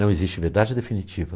Não existe verdade definitiva.